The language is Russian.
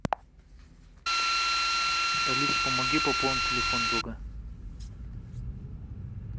алиса помоги пополнить телефон друга